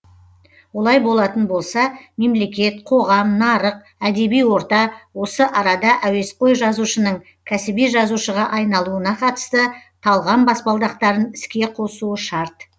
олай болатын болса мемлекет қоғам нарық әдеби орта осы арада әуесқой жазушының кәсіби жазушыға айналуына қатысты талғам баспалдақтарын іске қосуы шарт